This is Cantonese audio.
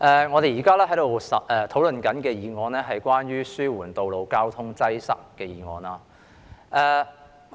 我們現正討論"紓緩道路交通擠塞"的議案。